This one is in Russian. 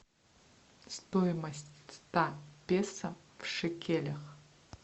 стоимость ста песо в шекелях